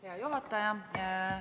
Hea juhataja!